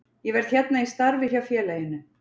Ég verð hérna í starfi hjá félaginu.